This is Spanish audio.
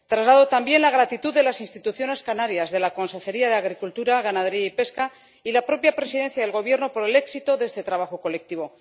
Traslado, también, la gratitud de las instituciones canarias —de la Consejería de Agricultura, Ganadería y Pesca y de la propia Presidencia del Gobierno— por el éxito de este trabajo colectivo.